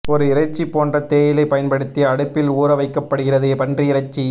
ஒரு இறைச்சி போன்ற தேயிலை பயன்படுத்தி அடுப்பில் ஊறவைக்கப்ப்டுகிறது பன்றி இறைச்சி